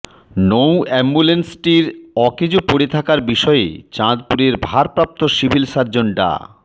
নৌ অ্যাম্বুলেন্সটির অকেজো পড়ে থাকার বিষয়ে চাঁদপুরের ভারপ্রাপ্ত সিভিল সার্জন ডা